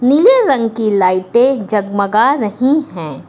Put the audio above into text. नीले रंग कि लाइटें जगमगा रही हैं।